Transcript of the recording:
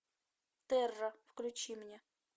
терра включи мне